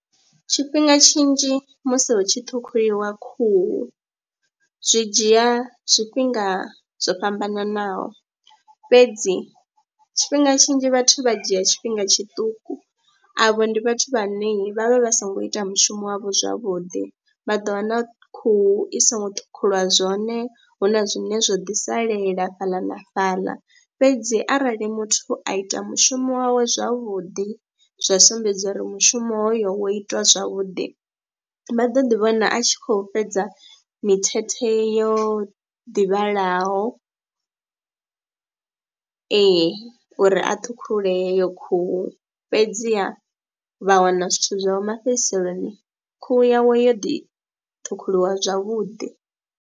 Tshifhinga tshinzhi musi hu tshi ṱhukhuliwa khuhu zwi dzhia zwifhinga zwo fhambananaho fhedzi tshifhinga tshinzhi vhathu vha dzhia tshifhinga tshiṱuku, avho ndi vhathu vhane vha vha vha songo ita mushumo wavho zwavhuḓi vha ḓo wana khuhu i songo ṱhukhuliwa zwone, hu na zwine zwo ḓi salela fhaḽa na fhaḽa. Fhedzi arali muthu a ita mushumo wawe zwavhuḓi zwa sumbedza uri mushumo hoyo wo itwa zwavhuḓi vha ḓo ḓi vhona a tshi khou fhedza mithethe yo ḓi vhalaho ee, uri a ṱhukhule heyo khuhu fhedziha vha wana zwithu zwavho mafhedziseloni, khuhu yawe yo ḓi ṱhukhuliwa zwavhuḓi.